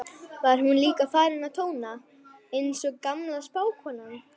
var hún líka farin að tóna, einsog gamla spákonan.